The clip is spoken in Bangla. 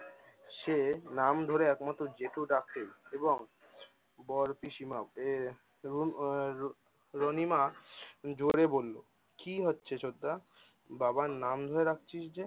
সে নাম ধরে একমাত্র জেঠু ডাকে এবং বরপিশিমা রণিমা জোরে বললো, কি হচ্ছে ছোটদা? বাবার নাম ধরে ডাকছিস যে?